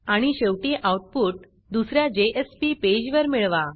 आणि शेवटी आऊटपुट दुस या जेएसपी पेजवर मिळवा